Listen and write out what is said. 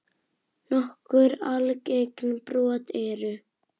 Nokkur algeng brot eru